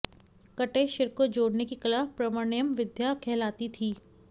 कटे शिर को जोड़ने की कला प्रवण्यं विद्या कहलाती थी